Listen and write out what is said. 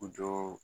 U jɔ